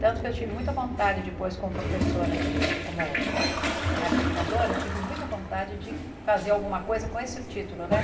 Tanto que eu tive muita vontade depois, como professora de... como arte educadora, eu tive muita vontade de fazer alguma coisa com esse título, né?